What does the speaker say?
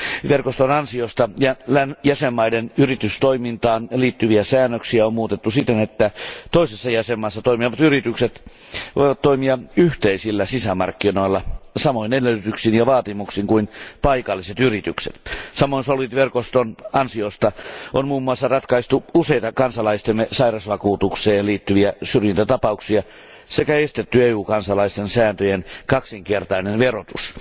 Verkoston ansiosta jäsenvaltioiden yritystoimintaan liittyviä säännöksiä on muutettu siten, että toisessa jäsenvaltiossa toimivat yritykset voivat toimia yhteisillä sisämarkkinoilla samoin edellytyksin ja vaatimuksin kuin paikalliset yritykset. Samoin SOLVIT verkoston ansiosta on muun muassa ratkaistu useita kansalaistemme sairausvakuutukseen liittyviä syrjintätapauksia sekä estetty EU kansalaisten säästöjen kaksinkertainen verotus.